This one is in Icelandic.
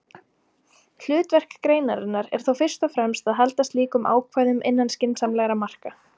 Hlutverk greinarinnar er þó fyrst og fremst að halda slíkum ákvæðum innan skynsamlegra marka.